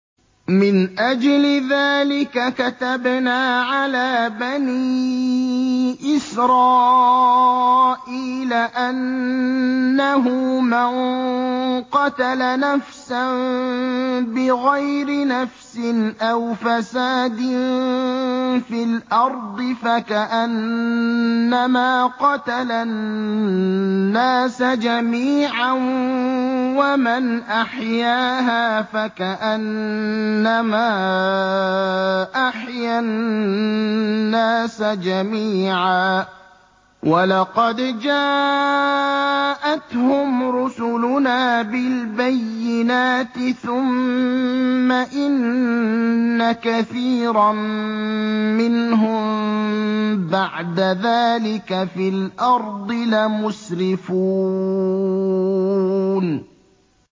مِنْ أَجْلِ ذَٰلِكَ كَتَبْنَا عَلَىٰ بَنِي إِسْرَائِيلَ أَنَّهُ مَن قَتَلَ نَفْسًا بِغَيْرِ نَفْسٍ أَوْ فَسَادٍ فِي الْأَرْضِ فَكَأَنَّمَا قَتَلَ النَّاسَ جَمِيعًا وَمَنْ أَحْيَاهَا فَكَأَنَّمَا أَحْيَا النَّاسَ جَمِيعًا ۚ وَلَقَدْ جَاءَتْهُمْ رُسُلُنَا بِالْبَيِّنَاتِ ثُمَّ إِنَّ كَثِيرًا مِّنْهُم بَعْدَ ذَٰلِكَ فِي الْأَرْضِ لَمُسْرِفُونَ